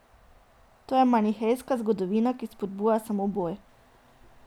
To je manihejska zgodovina, ki spodbuja samo boj.